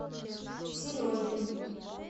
сережей